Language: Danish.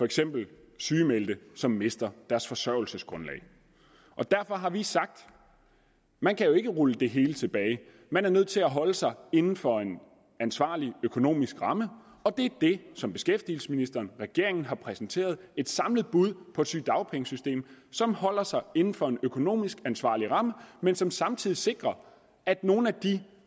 eksempel sygemeldte som mister deres forsørgelsesgrundlag derfor har vi sagt at man jo ikke kan rulle det hele tilbage man er nødt til at holde sig inden for en ansvarlig økonomisk ramme og det er det som beskæftigelsesministeren og regeringen har præsentere et samlet bud på et sygedagpengesystem som holder sig inden for en økonomisk ansvarlig ramme men som samtidig sikrer at nogle af de